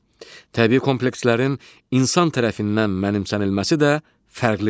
Təbii komplekslərin insan tərəfindən mənimsənilməsi də fərqlidir.